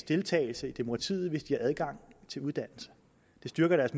deltagelse i demokratiet hvis de har adgang til uddannelse det styrker deres